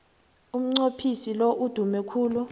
umnqophisi lo udume khulu